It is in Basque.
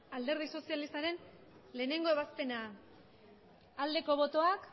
alderdi sozialistaren lehenengo ebazpena aldeko botoak